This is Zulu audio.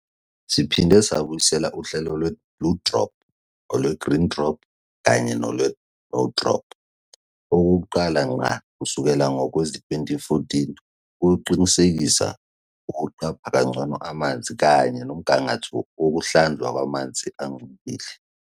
Siphinde sabuyisela uhlelo lweBlue Drop, olweGreen Drop kanye nolweNo Drop okokuqala ngqa kusukela ngowezi-2014 ukuqinisekisa ukuqapha kangcono amanzi kanye nomgangatho wokuhlanzwa kwamanzi angcolile.